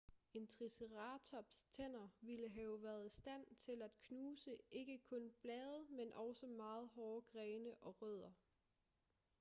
en triceratops' tænder ville have været i stand til at knuse ikke kun blade men også meget hårde grene og rødder